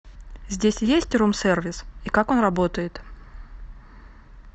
здесь есть рум сервис и как он работает